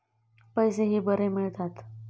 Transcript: पैसेही बरे मिळतात.